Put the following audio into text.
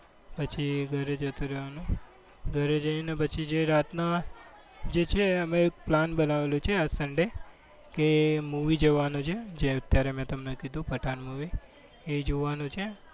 પછી જ ઘરે જતું રહેવાનું. ઘરે જઈને પછી જે રાતના જે છે એ અમે plan બનાવેલો છે sunday કે movie જવાનું છે જે અત્યારે મેં તમને કીધુ પઠાણ movie એ જોવાનું છે.